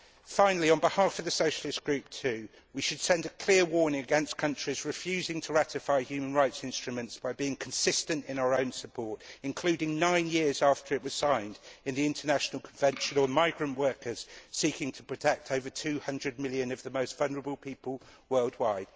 Finally on behalf of the Socialist Group too, we should send a clear warning against countries refusing to ratify human rights instruments by being consistent in our own support, including, nine years after it was signed in, the International Convention on Migrant Workers, seeking to protect over 200 million of the most vulnerable people worldwide.